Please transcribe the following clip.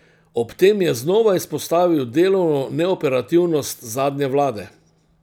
Ob tem je znova izpostavil delovno neoperativnost zadnje vlade.